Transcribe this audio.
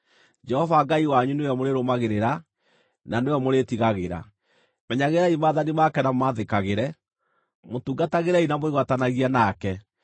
Jehova Ngai wanyu nĩwe mũrĩrũmagĩrĩra, na nĩwe mũrĩĩtigagĩra. Menyagĩrĩrai maathani make na mũmathĩkagĩre; mũtungatagĩrei na mwĩgwatanagie nake.